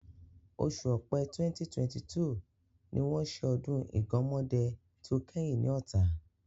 Oṣù Ọpẹ́ 2022 ni wọ́n ṣe ọdún Ìgánmọ́dẹ tí ó kẹ́yìn ní Ọ̀tà.